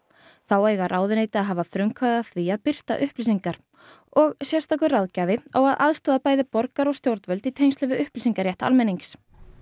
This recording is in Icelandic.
þá eiga ráðuneyti að hafa frumkvæði að því að birta upplýsingar og sérstakur ráðgjafi á að aðstoða bæði borgara og stjórnvöld í tengslum við upplýsingarétt almennings